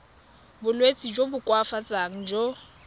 bolwetsi jo bo koafatsang jo